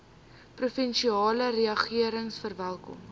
provinsiale regering verwelkom